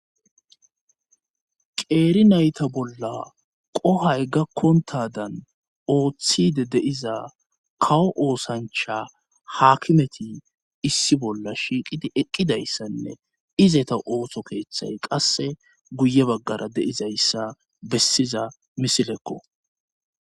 qeeri nayta bolla qohay gakkontadan ooththide de'iza kawo oosancha haakimeti issi bolla shiiqidi eqqidayssanne izeta ooso keeththay qasse guye baggara de'izayssa bessiza misilekko